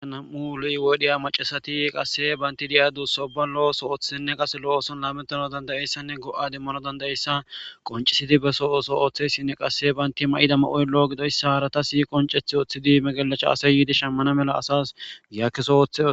Nam7u lo7i wodhiya maccasathi qassi banththe de7iya duussa ubban lo7o ooso ooththizinne qassi lo7o ooson laameththanawu dandda7issanne go7aa demmanawu dandda7issa qonccisside beso ooso ooththeesinne qassi banththe may7ido may7oy lo7o gidoyssa harathassi qoncceththi ooththidi megelecaa asay yiidi shammena mala asas yaa keso ooththes.